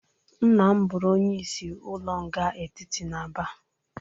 Nna m bụrụ onyeisi ụlọ nga etiti n'Aba.